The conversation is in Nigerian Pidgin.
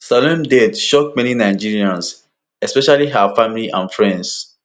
salome death shock many nigerians especially her family and friends